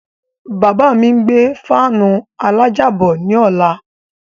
Bàbá mi ń gbé gáànù alájà bọ̀ ní ọ̀la.